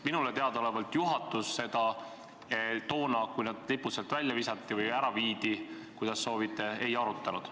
Minule teadaolevalt juhatus seda toona, kui need lipud sealt välja visati või ära viidi – kuidas soovite –, ei arutanud.